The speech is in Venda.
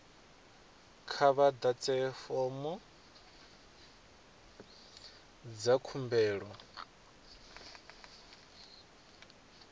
kha vha ḓadze fomo dza khumbelo